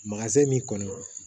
min kɔnɔ